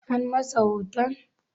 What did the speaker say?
An masa hoton?